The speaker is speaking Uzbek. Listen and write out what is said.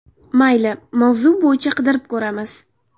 Mayli, mavzu bo‘yicha qidirib ko‘ramiz.